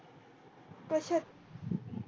कशा